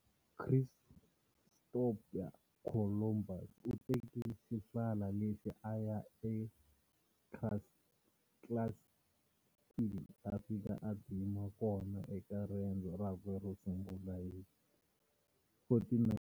Christopher Columbus u teke xihlala lexi a ya eCastile, a fika a dzima kona eka riendzo rakwe ro sungula hi 1492.